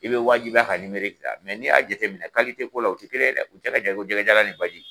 I bɛ wajibiya ka ta n'i y'a jateminɛ ko la u tɛ kelen ye dɛ u cɛ ka jan i ko jɛgɛjalan n i baji